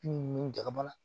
Bin nunnu jagara